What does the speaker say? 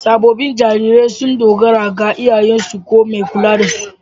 Sabobin jarirai sun dogara ga iyayensu ko mai kulla da su.